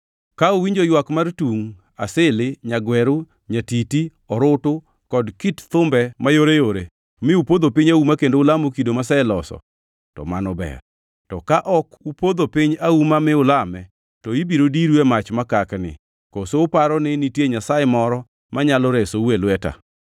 Ka uwinjo ywak mar tungʼ, asili, nyagweru, nyatiti, orutu kod kit thumbe mayoreyore, mi upodho piny auma kendo ulamo kido maseloso, to mano ber. To ka ok upodho piny auma mi ulame, to ibiro diru e mach makakni. Koso uparo ni nitie nyasaye moro manyalo resou e lweta?”